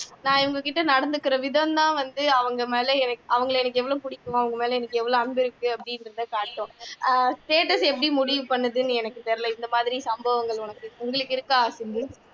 நான் இவங்ககிட்ட நடந்துக்கிறவிதம்தான் நான் அவங்க மேல அவங்களை எனக்கு எவ்வளவு பிடிக்கும் அவங்க மேல எனக்கு எவ்வளவு அன்பு இருக்கு அப்படின்றதை காட்டும் அஹ் status எப்படி முடிவு பண்ணுதுன்னு எனக்கு தெரியலை இந்த மாதிரி சம்பவங்கள் எனக்கு உங்களுக்கு இருக்கா சிம்பு